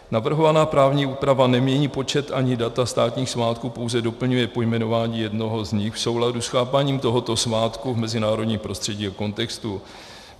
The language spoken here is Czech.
Navrhovaná právní úprava nemění počet ani data státních svátků, pouze doplňuje pojmenování jednoho z nich v souladu s chápáním tohoto svátku v mezinárodním prostředí a kontextu.